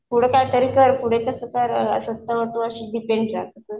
पुढं कायतरी कर पुढे तर स्वतःवर तू डिपेंड राहशील.